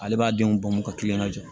Ale b'a denw bɔn ka kilen ka jɔ